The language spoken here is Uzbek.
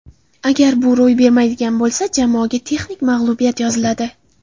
Agar bu ro‘y bermaydigan bo‘lsa, jamoaga texnik mag‘lubiyat yoziladi.